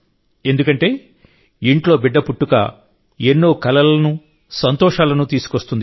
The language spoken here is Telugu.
ఎందుకంటే ఇంట్లో బిడ్డ పుట్టుక ఎన్నో కలలను సంతోషాలను తీసుకొస్తుంది